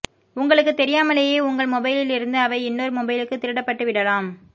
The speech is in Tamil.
உங்களுக்குத் தெரியாமலேயே உங்கள் மொபைலில் இருந்து அவை இன்னோர் மொபைலுக்கு திருடப்பட்டு விடலாம்